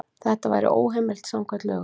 Þetta væri óheimilt samkvæmt lögum.